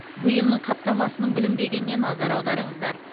бұйымның қаптамасының бүлінбегеніне назар аударыңыздар